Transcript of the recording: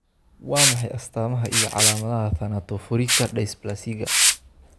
Waa maxay astamaha iyo calaamadaha Thanatophorika dysplasiga?